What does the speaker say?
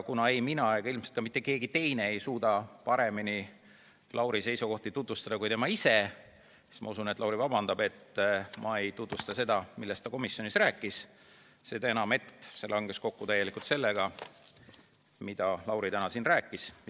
Kuna ei mina ega ilmselt ka mitte keegi teine ei suuda paremini Lauri seisukohti tutvustada kui tema ise, siis ma usun, et Lauri vabandab, et ma ei tutvusta seda, millest ta komisjonis rääkis, seda enam, et see langes täielikult kokku sellega, mida Lauri täna siin rääkis.